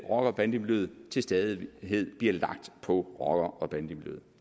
rocker bande miljøet til stadighed bliver lagt på rocker og bandemiljøet